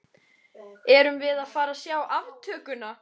Erum við að fara að sjá aftökuna?